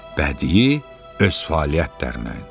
Bədii öz fəaliyyətlərində.